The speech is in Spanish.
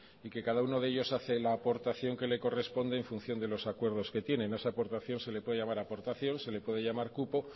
y que cada uno de ellos hace la aportación que le corresponde en función de los acuerdos que tienen a esa aportación se le puede llamar aportación se le puede llamar cupo